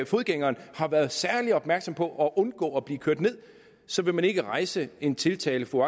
fodgængeren har været særlig opmærksom på at undgå at blive kørt ned så vil man ikke rejse en tiltale for